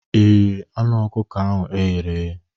Ị riri anụ ọkụkọ ahụ e ghere eghe?